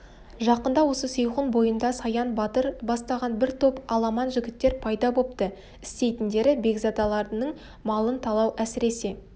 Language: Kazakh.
жақында осы сейхун бойында саян батыр бастаған бір топ аламан жігіттер пайда бопты істейтіндері бекзадалардың малын талау әсіресе